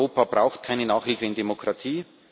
Europa braucht keine Nachhilfe in Demokratie.